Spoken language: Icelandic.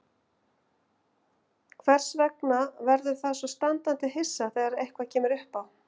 Þess vegna verður það svo standandi hissa þegar eitthvað kemur uppá.